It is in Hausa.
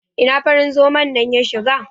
Ina farin zoman nan ya shiga?